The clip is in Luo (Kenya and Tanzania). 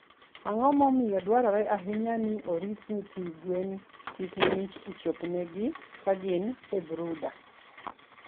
Ang'o momiyo dwarore ahinya ni orit nyithi gwen kik ng`ich chop ne gi kagin e brooder.